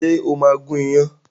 Ṣé o máa gún iyán?